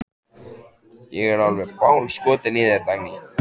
Ég er alveg bálskotinn í þér, Dagný!